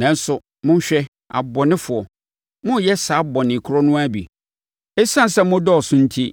“Nanso, monhwɛ, abɔnefoɔ, moreyɛ saa bɔne koro no ara bi. Esiane sɛ mo dɔɔso enti,